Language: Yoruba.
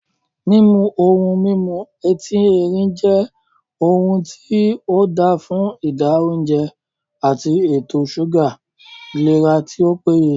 Mímu ohun mímu etín erin jẹ́ ohun tí ,óda fún ìdá óùnjẹ, ati ètò súgà ìlera tí ó péye